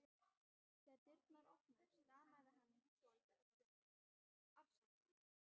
Þegar dyrnar opnuðust stamaði hann svolítið og stundi upp: Afsakið